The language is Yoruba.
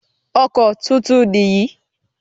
Ọkọ̀ tuntun nìyí.